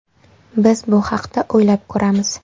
Biz bu haqda o‘ylab ko‘ramiz.